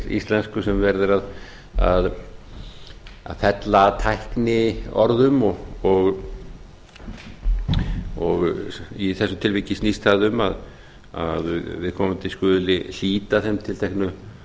íslensku sem verið er að fella að tækniorðum og í þessu tilviki snýst það um að viðkomandi skuli hlíta þeim